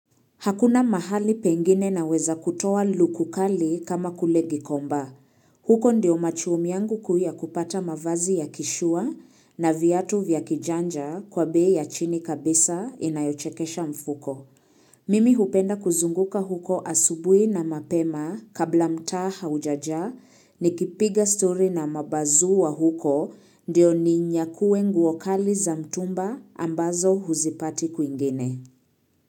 Hakuna mahali pengine naweza kutoa luku kali kama kule gikomba. Huko ndio machuom yangu kuu yakupata mavazi ya kishua na viatu vya kijanja kwa beya chini kabisa inayochekesha mfuko. Mimi hupenda kuzunguka huko asubuhi na mapema kabla mtaa haujaja ni kipiga story na mabazuu wa huko ndio ni nyakuwe nguo kali za mtumba ambazo huzipati kuingine.